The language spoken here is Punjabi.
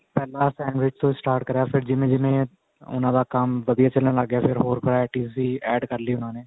ਪਹਿਲਾਂ sandwich ਤੋਂ start ਕਰਿਆ ਫ਼ੇਰ ਜਿਵੇਂ ਜਿਵੇਂ ਉਹਨਾ ਦਾ ਕੰਮ ਵਧੀਆ ਚੱਲਣ ਲੱਗ ਗਿਆ ਫ਼ੇਰ ਹੋਰ varieties ਵੀ add ਕਰ ਲਈਆਂ ਉਹਨਾ ਨੇ